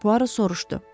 Puaro soruşdu.